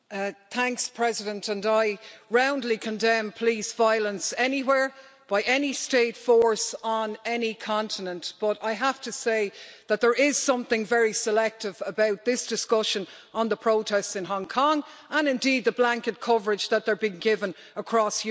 Madam President, I roundly condemn police violence anywhere, by any state force on any continent, but I have to say that there is something very selective about this discussion on the protests in Hong Kong and indeed the blanket coverage that they are being given across Europe.